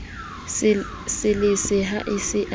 lesele ha a se a